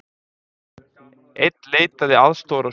Einn leitaði aðstoðar á sjúkrahúsi